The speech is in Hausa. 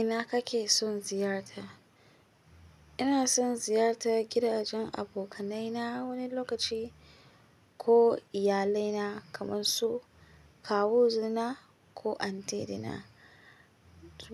Ina kake son ziyarta? Ina son ziyarta gidajen abokanaina wani lokaci ko iyalaina kamar su kawu na ko antidna.